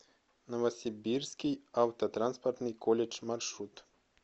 новосибирский автотранспортный колледж маршрут